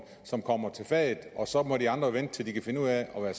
som kommer til fadet og så må de andre vente til at de kan finde ud af at være